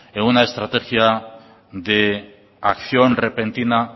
en una estrategia de acción repentina